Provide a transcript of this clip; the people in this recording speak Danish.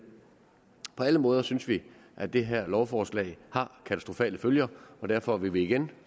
på alle måder synes vi at det her lovforslag har katastrofale følger og derfor vil vi igen